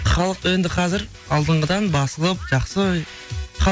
халық енді қазір алдыңғыдан басылып жақсы